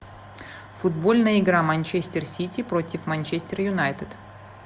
футбольная игра манчестер сити против манчестер юнайтед